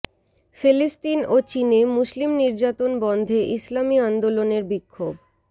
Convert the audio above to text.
ফিলিস্তিন ও চীনে মুসলিম নির্যাতন বন্ধে ইসলামী আন্দোলনের বিক্ষোভ